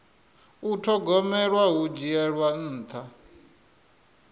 u thogomela hu dzhiela nṱha